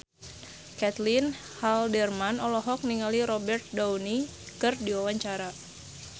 Caitlin Halderman olohok ningali Robert Downey keur diwawancara